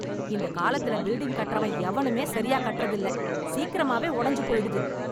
இந்த காலத்தில் பில்டிங் கட்டுறவன் எவனுமே சரி கட்றது இல்லை, சீக்கிரமாவே உடைஞ்சு போயிடுது.